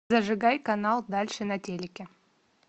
зажигай канал дальше на телике